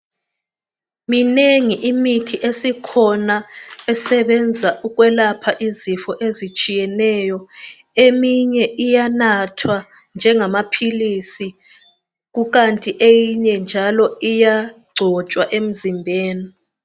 Minengi imithi esikhona esebenza ukwelapha izifo ezitshiyeneyo eminye iyanathwa njengamaphilisi kukanti eyinye njalo iyagcotshwa emzimbeni.